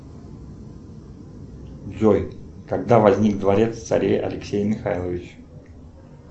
джой когда возник дворец царя алексея михайловича